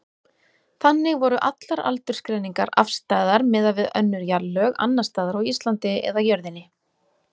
Þannig voru allar aldursgreiningar afstæðar miðað við önnur jarðlög, annars staðar á Íslandi eða jörðinni.